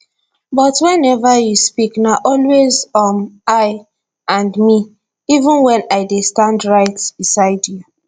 but whenever you speak na always um i and me even wen i dey stand right beside you